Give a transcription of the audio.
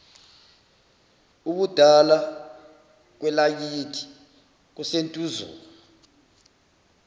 ubudala kwelakithi kusentuzuma